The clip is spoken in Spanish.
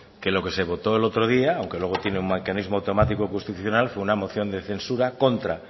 que lo que se votó el otro día aunque luego tiene un mecanismo automático constitucional fue una moción de censura contra